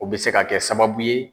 O bɛ se ka kɛ sababu ye.